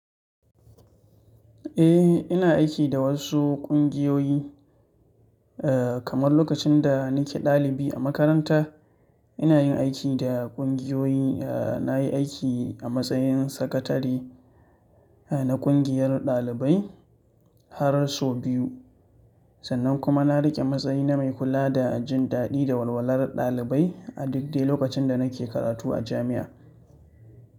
Eh, ina aiki da wasu ƙungiyoyi, eh kamar lokacin da nike ɗalibi a makaranta. Ina yin aiki da ƙungiyoyi, eh nayi aiki a matsayin sakatare eh na ƙungiyar ɗalibai har sau biyu sannan kuma na riƙe matsayi na mai kula da jin daɗi da walwalar ɗalibai a duk dai lokacin da nake karatu a jami'a.